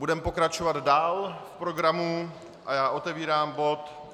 Budeme pokračovat dál v programu a já otevírám bod